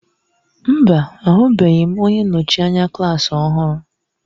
Mba! Ahụbeghị m onye nnọchi anya klaasị ọhụrụ.